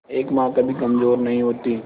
एक मां कभी कमजोर नहीं होती